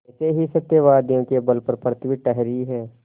ऐसे ही सत्यवादियों के बल पर पृथ्वी ठहरी है